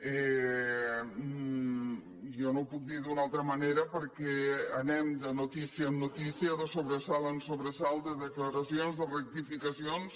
jo no ho puc dir d’altra manera perquè anem de notícia en notícia de sobre·salt en sobresalt de declaracions de rectificacions